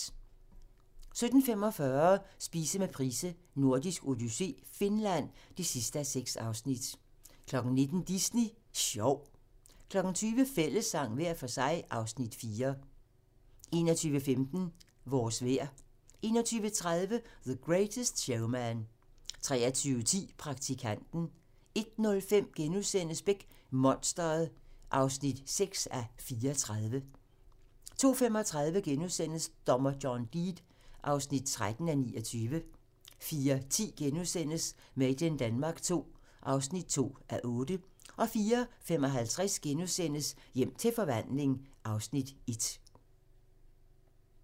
17:45: Spise med Price: Nordisk odyssé - Finland (6:6) 19:00: Disney Sjov 20:00: Fællessang - hver for sig (Afs. 4) 21:15: Vores vejr 21:30: The Greatest Showman 23:10: Praktikanten 01:05: Beck: Monstret (6:34)* 02:35: Dommer John Deed (13:29)* 04:10: Made in Denmark II (2:8)* 04:55: Hjem til forvandling (Afs. 1)*